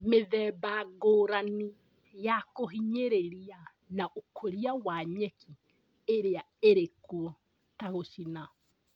Mĩthemba ngũrani ya kũhinyĩrĩria na ũkũria wa nyeki iria irĩkuo ta gũcina